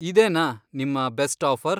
ಇದೇನಾ ನಿಮ್ಮ best offer?